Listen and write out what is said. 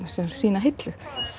eða sína hillu